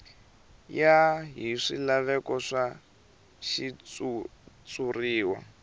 ya hi swilaveko swa xitshuriwa